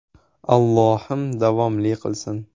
Allohim davomli qilsin.